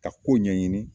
Ka ko ɲɛɲini